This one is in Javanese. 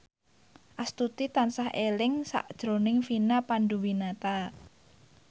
Astuti tansah eling sakjroning Vina Panduwinata